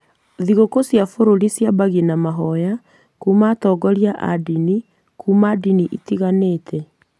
Thigũkũ cia bũrũri ciambagia na mahoya kuma atongoria a ndini kuma ndini itiganĩte.